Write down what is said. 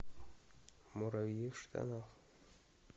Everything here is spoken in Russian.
муравьи в штанах